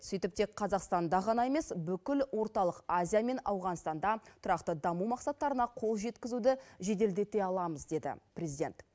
сөйтіп тек қазақстанда ғана емес бүкіл орталық азия мен ауғанстанда тұрақты даму мақсаттарына қол жеткізуді жеделдете аламыз деді президент